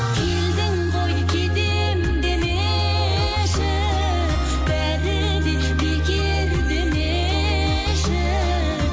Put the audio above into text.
келдің ғой кетемін демеші бәрі де бекер демеші